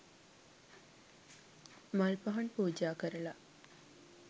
මල් පහන් පූජා කරලා